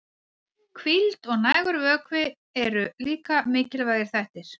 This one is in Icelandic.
Hvíld og nægur vökvi eru líka mikilvægir þættir.